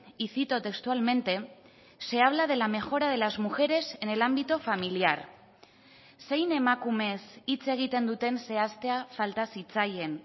y cito textualmente se habla de la mejora de las mujeres en el ámbito familiar zein emakumez hitz egiten duten zehaztea falta zitzaien